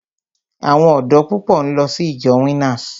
Àwọn ọ̀dọ́ púpọ̀ ń lọ sí ìjọ Winners.